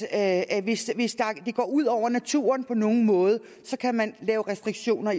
at hvis det går ud over naturen på nogen måde så kan man lave restriktioner